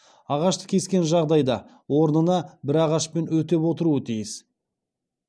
ағашты кескен жағдайда орнына бір ағашпен өтеп отыруы тиіс